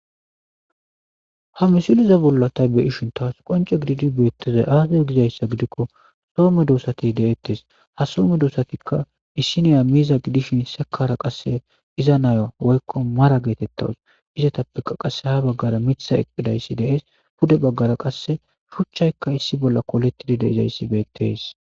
ha misiliza bolla ta be ishin taas qonce gididi beettezay aasaz gizayssa gidikko somme doosati de7ettes ha soome doosatikka issiniya miiza gidishin sekara qasse iza naya woykko mara geetettawus izatappeka qasse ha baggara mitha eqqidayssi dees pude baggara qasse shuchchaykka issi bolla koletidide izayssi beettees